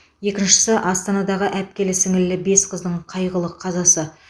екіншісі астанадағы әпкелі сіңлілі бес қыздың қайғылы қазасы